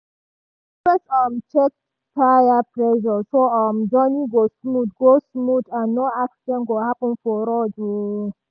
dem dey always um check tire pressure so um journey go smooth go smooth and no accident go happen for road. um